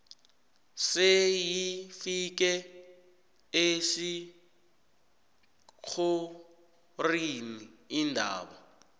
seyifike esithlorini indaba